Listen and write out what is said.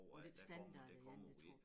Med den standard igen det tror